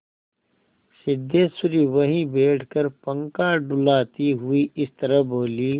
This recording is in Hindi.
सिद्धेश्वरी वहीं बैठकर पंखा डुलाती हुई इस तरह बोली